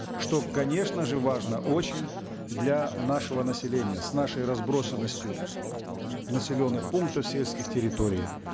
что конечно же важно очень для нашего населения с нашей разбросонностью населенных пунктов сельских территорий